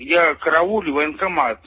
я караулю военкомат